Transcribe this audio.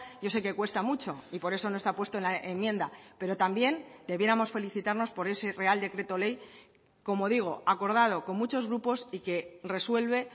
yo sé que cuesta mucho y por eso no está puesto en la enmienda pero también debiéramos felicitarnos por ese real decreto ley como digo acordado con muchos grupos y que resuelve